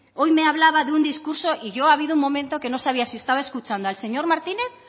hoy me hablaba de un discurso y yo ha habido un momento que no sabía si estaba escuchando al señor martínez